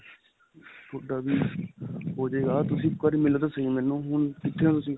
ਤੁਹਾਡਾ ਵੀ ਹੋ ਜੇਗਾ. ਤੁਸੀਂ ਇੱਕ ਵਾਰੀ ਮਿਲੋ ਤਾਂ ਸਹੀ ਮੈਨੂੰ ਹੁਣ ਕਿੱਥੇ ਓ ਤੁਸੀਂ?